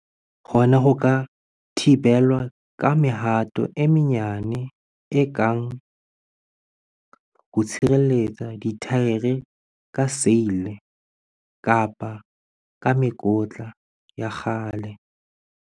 Hona ho ka thibelwa ka mehato e menyane e kang ho tshireletsa dithaere ka seile kapa ka mekotla ya kgale.